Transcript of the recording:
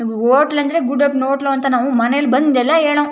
Hotel ಅಂದ್ರೆ ಗುಡ್ಡಪ್ಪನ hotel ಅಂತ ನಾವು ಮನೇಲಿ ಬಂದು ಎಲ್ಲ ಹೇಳೋರು.